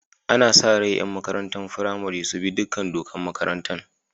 Ana sa rai yaran makarantan firamari su bi dukan dokan makarantan.